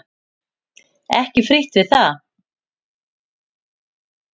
Ekki frítt við það!